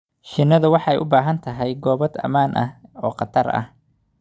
Shinnidu waxay u baahan tahay gabaad ammaan ah oo khatarta ah.